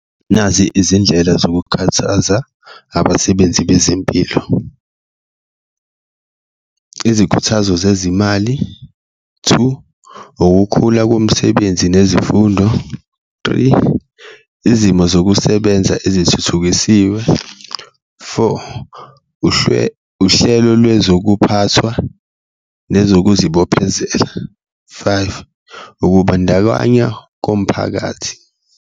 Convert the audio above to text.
Nazi izindlela zokukhuthaza abasebenzi bezempilo, izikhuthazo zezimali, two, ukukhula komsebenzi nezifundo, three, izimo zokusebenza ezithuthukisiwe, four, uhlelo lwezokuphathwa nezokuzibophezela, five, ukubandakanywa komphakathi.